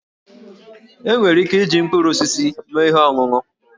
E nwere ike iji mkpụrụ osisi mee ihe ọṅụṅụ